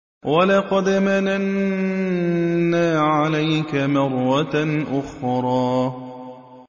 وَلَقَدْ مَنَنَّا عَلَيْكَ مَرَّةً أُخْرَىٰ